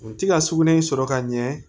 U ti ka sugunɛ sɔrɔ ka ɲɛ